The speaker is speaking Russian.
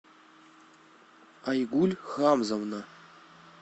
айгуль хамзовна